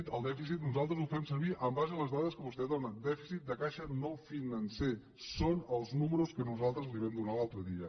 el dèficit nosaltres ho fem servir en base a les dades que vostè dóna dèficit de caixa no financer són els números que nosaltres li vam donar l’altre dia